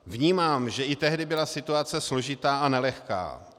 Vnímám, že i tehdy byla situace složitá a nelehká.